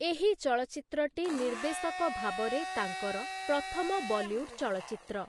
ଏହି ଚଳଚ୍ଚିତ୍ରଟି ନିର୍ଦ୍ଦେଶକ ଭାବରେ ତାଙ୍କର ପ୍ରଥମ ବଲିଉଡ୍‌ ଚଳଚ୍ଚିତ୍ର ।